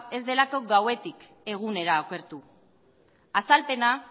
ez delako gauetik egunera okertu azalpena